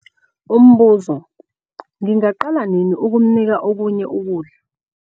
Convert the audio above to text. Umbuzo- Ngingaqala nini ukumnika okunye ukudla?